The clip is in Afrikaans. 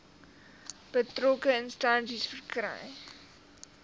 betrokke instansie verkry